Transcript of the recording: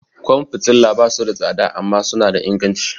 Kwan fitila ba su da tsada amma suna da inganci.